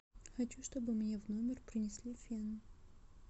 хочу чтобы мне в номер принесли фен